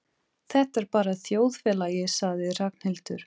Þetta er bara þjóðfélagið sagði Ragnhildur.